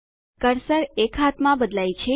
cursor એક હાથમાં બદલાય છે